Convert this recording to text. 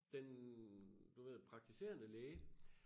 Den du ved praktiserende læge